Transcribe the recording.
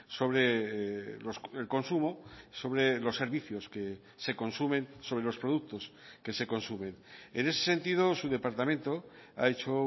sobre el consumo sobre los servicios que se consumen sobre los productos que se consumen en ese sentido su departamento ha hecho